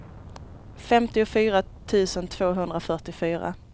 femtiofyra tusen tvåhundrafyrtiofyra